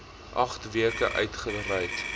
agt weke uitgereik